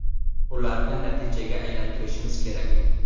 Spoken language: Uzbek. Ularni natijaga aylantirishimiz kerak.